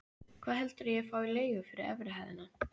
Hvað heldurðu ég fái í leigu fyrir efri hæðina?